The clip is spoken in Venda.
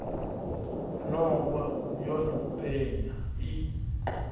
nowa yo no penya i